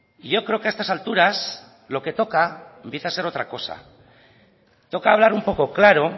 y yo creo que a estas alturas lo que toca empieza a ser otra cosa toca hablar un poco claro